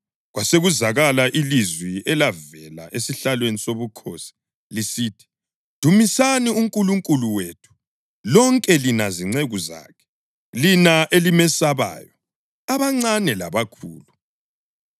Kwasekuzwakala ilizwi elavela esihlalweni sobukhosi, lisithi: “Dumisani uNkulunkulu wethu, lonke lina zinceku zakhe, lina elimesabayo, abancane labakhulu!”